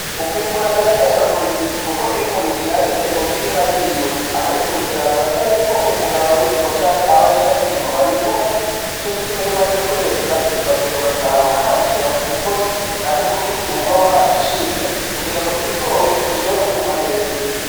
Ukwimbura birabera umurimyi, kuko iyo umurimyi yarimye mu mirima yiwe akabikurikiraza nk'uko umuganga w'indimo canke abahinga b'indimo babivuga ni co gituma iyo umaze kweza uragenda ugasarurukanikira ku mugozi canke kubitiy e uba warashinze kugira ngo ibigori bishobore kwuma neza.